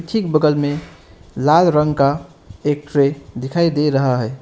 ठीक बगल में लाल रंग का एक ट्रे दिखाई दे रहा है।